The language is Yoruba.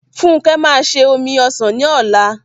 Funke máa se omi ọsàn ní ọ̀la m